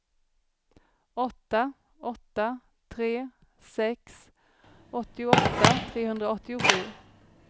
åtta åtta tre sex åttioåtta trehundraåttiosju